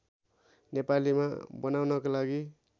नेपालीमा बनाउनको लागि